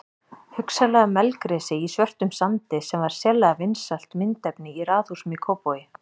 Hugsanlega melgresi í svörtum sandi sem var sérlega vinsælt myndefni í raðhúsum í Kópavogi.